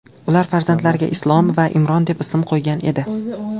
Ular farzandlariga Islom va Imron deb ism qo‘ygan edi.